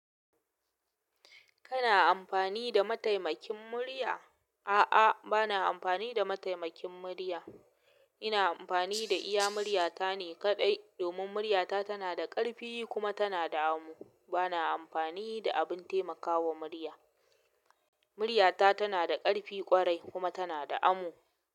Kana amfani da mataimakin murya? A'a, bana amfani da mataimakin murya. Ina amfani da iya murya ta ne kaɗai. Domin murya ta tana da ƙarfi kuma tana da amo. Bana amfani da abin taimakawa murya. Murya ta tana da ƙarfi ƙwarai kuma tana da amo.